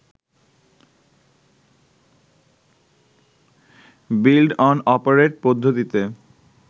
build-own-operate পদ্ধতিতে